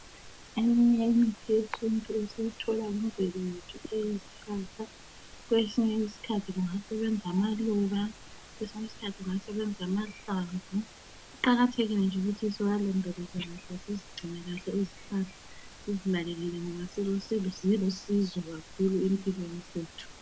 Eminye imithi yesintu esiyithola kumvelo yethu eyezihlahla kwesinye isikhathi kungasebenza amaluba, kwesinye isikhathi kungasebenza amahlamvu. Kuqakathekile nje ukuthi siwalondoloze kahle sizigcine kahle izihlahla, sizinakekele ngoba zilusizo kakhulu empilweni zethu.